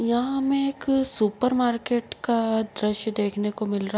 यहाँ हमें एक सुपर मार्केट का द्रश्य देखने को मिल रहा --